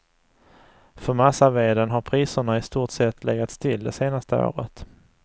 För massaveden har priserna i stort sett legat still det senaste året.